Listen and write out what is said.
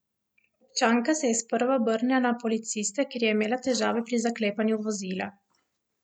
Občanka se je sprva obrnila na policiste, ker je imela težave pri zaklepanju vozila.